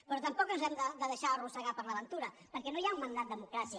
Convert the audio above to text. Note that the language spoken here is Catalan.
però tampoc ens hem de deixar arrossegar per l’aventura perquè no hi ha un mandat democràtic